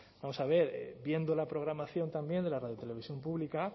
vamos a ver viendo la programación también de la radio televisión pública